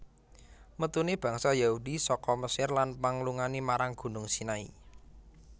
Metune bangsa Yahudi saka Mesir lan panglungane marang Gunung Sinai